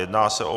Jedná se o